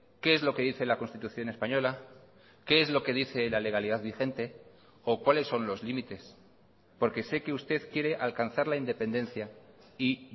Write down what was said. qué es lo que dice la constitución española qué es lo que dice la legalidad vigente o cuáles son los límites porque sé que usted quiere alcanzar la independencia y